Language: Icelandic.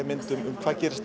mynd um hvað gerist